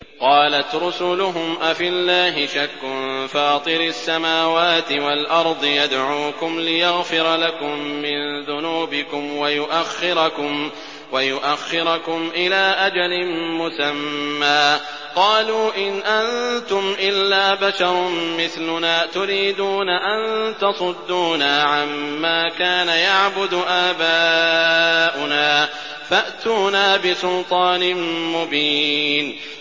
۞ قَالَتْ رُسُلُهُمْ أَفِي اللَّهِ شَكٌّ فَاطِرِ السَّمَاوَاتِ وَالْأَرْضِ ۖ يَدْعُوكُمْ لِيَغْفِرَ لَكُم مِّن ذُنُوبِكُمْ وَيُؤَخِّرَكُمْ إِلَىٰ أَجَلٍ مُّسَمًّى ۚ قَالُوا إِنْ أَنتُمْ إِلَّا بَشَرٌ مِّثْلُنَا تُرِيدُونَ أَن تَصُدُّونَا عَمَّا كَانَ يَعْبُدُ آبَاؤُنَا فَأْتُونَا بِسُلْطَانٍ مُّبِينٍ